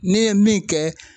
N'i ye min kɛ.